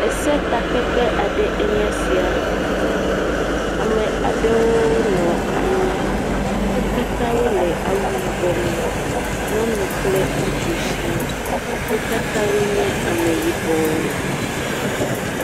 Esetakpekpe aɖe enye sia. Ame aɖewo nɔ anyi. Wo katã wole awu yibɔme. nyɔnu kple ŋutsu shiaa. Wo katã wonye Ameyibɔwo.